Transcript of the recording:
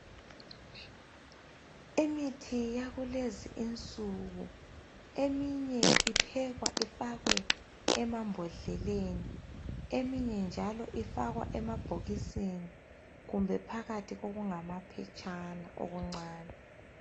Imithi yakulezinsuku eminye iphekwa ifakwe emambhodleleni eminye njalo ifakwa emabhokisini kumbe phakathi kokungamaphetshana okuncane.